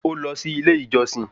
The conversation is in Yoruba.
Ó lọ sí ilé ìjọsìn